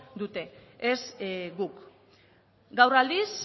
dute ez guk gaur aldiz